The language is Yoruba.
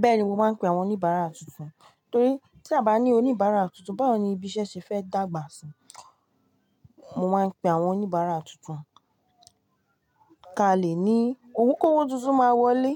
Bẹ́ẹ̀ni mo máa ń pe àwọn oníbàárà tuntun, torí tí a à bá ní oníbàárà tuntun, báwo ni ibi iṣẹ́ ṣe fẹ́ dàgbà síi. Mo máa ń pe àwọn oníbàárà tuntun. Káa lè ní òun kówó tuntun máa wọlé,